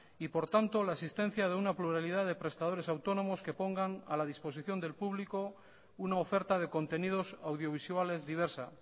y por tanto la existencia de una pluralidad de prestadores autónomos que pongan a la disposición del público una oferta de contenidos audiovisuales diversa